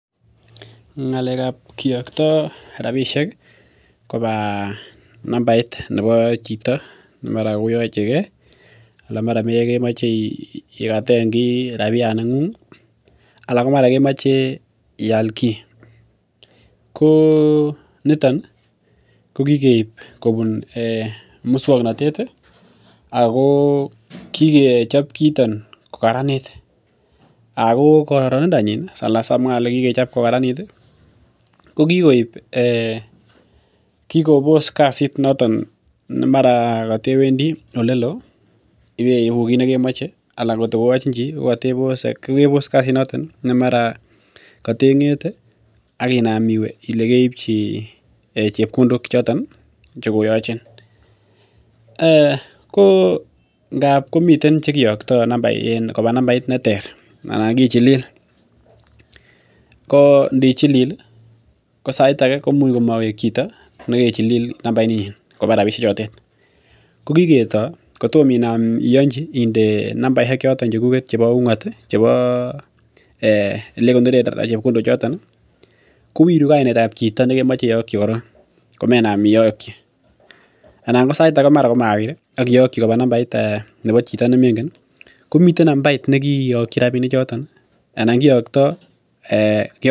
Ng'alekab kiokto rabisiek koba nambait nebo chito ne mara ko koyachege anan mara kemoche iraten ki rabiyaat ni ng'ung ih aln mara kemache ial ki , ko niton kokikeib musuaknotet ih ako kikechob kiiton kokraranit ako kararanindo nyin ih ko kikobos kasit noton nemara katewendi olelo ih , ibeibu kit nekemache anan atkoyachin chi , kokebos kasit noton mara katen, ng'ete akinaam iwe Ile keibchi chebkondok choton ih koyachin. Ngapi komiten chekiacto koba nambait neter anan kichilil, ko ndichilil hi ko sait age koimuch mawek chito , negechilil nambait nyin koba rabisiek choton , ko kiketo kotom inam ianchi ko inde nambaisiek choton chebo ung'at ih , chebo olekonoren chebkondok choton ih kowiru kainetab chito nekemaeiakyi koron komemenam iakyi anan saitake komawir akiyakyi koba chito nemengen komiten nambait nekikiyakyi rabinik choton ih anan kiakto.